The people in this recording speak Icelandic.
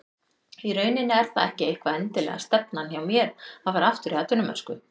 Í rauninni er það ekki eitthvað endilega stefnan hjá mér að fara aftur í atvinnumennsku.